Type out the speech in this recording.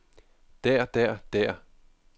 der der der